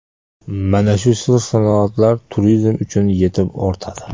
Mana shu sir-sinoatlar turizm uchun yetib ortadi.